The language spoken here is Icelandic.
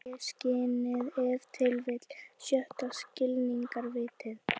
Og auðvitað mömmu líka.